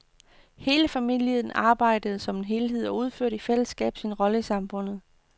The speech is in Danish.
Hele familien arbejdede som en enhed og udførte i fællesskab sin rolle i samfundet.